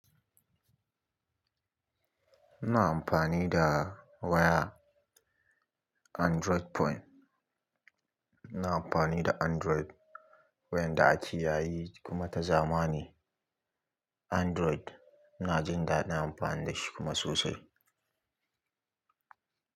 Ina amfani da waya Android phone. Ina amfani da Android wayar da ake yayi kuma ta zamani Android. Ina jin daɗin amfani da shi kuma sosai.